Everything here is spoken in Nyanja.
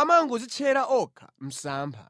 amangodzitchera okha msampha!